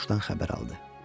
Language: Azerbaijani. Qoca quşdan xəbər aldı.